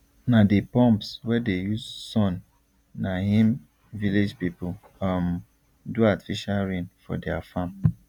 na the pumps wey dey use sunna him village people um do artificial rain for their farm